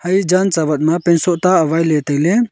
ae jan tsaawat ma pant soh ta awailey tailey.